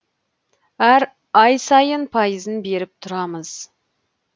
әр ай сайын сайын пайызын беріп тұрамыз